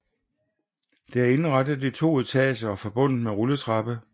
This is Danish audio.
Det er indrettet i 2 etager og forbundet med rulletrappe